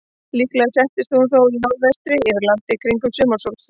Líklega sest hún þó í norðvestri yfir landi kringum sumarsólstöður.